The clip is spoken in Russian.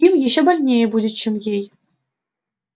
им ещё больнее будет чем ей